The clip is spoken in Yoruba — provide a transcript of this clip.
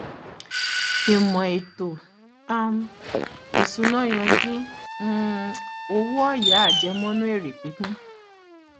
ìmò ètò um ìsúná yanjú um owó ọyà àjẹmọnú èrè pípín